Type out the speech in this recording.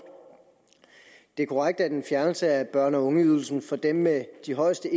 det er korrekt at en fjernelse af børne og ungeydelsen for dem med de højeste